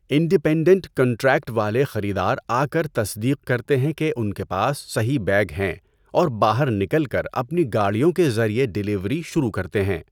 Independent contract والے خریدار آکر تصدیق کرتے ہیں کہ ان کے پاس صحیح بیگ ہیں اور باہر نکل کر اپنی گاڑیوں کے ذریعے ڈیلیوری شروع کرتے ہیں۔